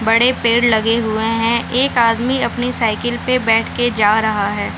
बड़े पेड़ लगे हुए हें एक आदमी अपनी साइकल पे बेठ के जा रहा है।